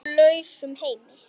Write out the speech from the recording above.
Í nú lausum heimi.